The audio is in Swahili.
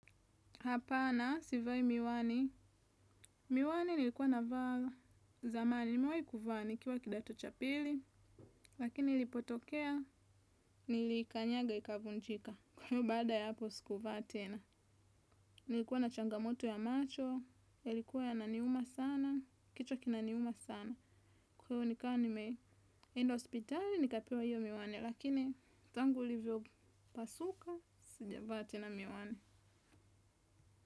Hapana, sivai miwani. Miwani nilikuwa navaa. Zamani, nimewai kuvaa nikiwa kidato cha pili, lakini ilipotokea, niliikanyaga ikavunjika. Kwa hiyo baada ya hapo, sikuvaa tena. Nilikuwa na changamoto ya macho, yalikuwa yananiuma sana, kichwa kinaniuma sana. Kwa hiyo nikawa nimeenda hospitali, nikapewa hiyo miwani, lakini tangu ilivyopasuka, sijavaa tena miwani.